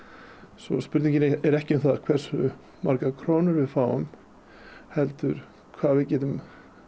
svo spurningin er ekki um það hversu margar krónur við fáum heldur hvað við getum